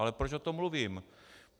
Ale proč o tom mluvím?